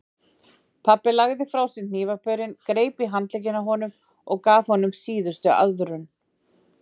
Pabbi lagði frá sér hnífapörin, greip í handlegginn á honum og gaf honum síðustu aðvörun.